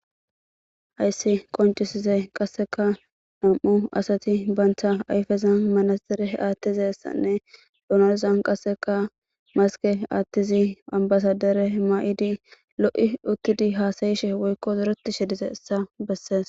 hayssi qoncisize qasseka nam7u asati bantha ayfezan manaxire aattizessanne dunazan qasseka maske aattizi ambasadere maa7idi lo7i uttidi haasayishe woykko zureti shedize essa bessees